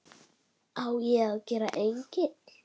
Það er smá spotti.